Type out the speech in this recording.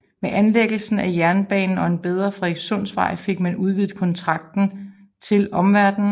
Med anlæggelsen af jernbanen og en bedre Frederikssundsvej fik man udvidet kontakten til omverdenen